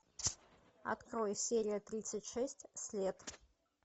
открой серия тридцать шесть след